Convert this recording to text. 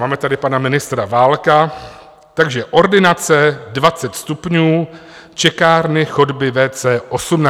Máme tady pana ministra Válka, takže ordinace 20 stupňů, čekárny, chodby, WC 18 stupňů.